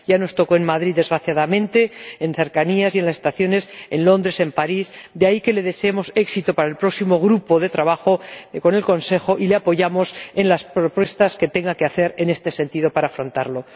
Ya nos tocó en Madrid, desgraciadamente, en cercanías y en las estaciones de Londres, en París, de ahí que le deseemos éxito para el próximo grupo de trabajo con el Consejo y le apoyamos en las propuestas que tenga que hacer en este sentido para afrontarlo.